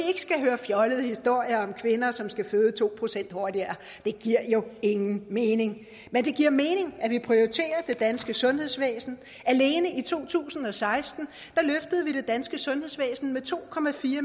skal høre fjollede historier om kvinder som skal føde to procent hurtigere det giver jo ingen mening men det giver mening at vi prioriterer det danske sundhedsvæsen alene i to tusind og seksten løftede vi det danske sundhedsvæsen med to